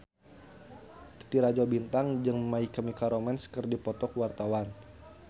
Titi Rajo Bintang jeung My Chemical Romance keur dipoto ku wartawan